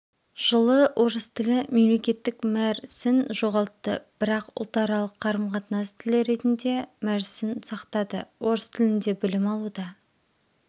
жылы орыс тілі мемлекеттік мәр сін жоғалтты бірақ ұлтаралық қарым-қатынас тілі ретінде мәр сін сақтады орыс тілінде білім алуда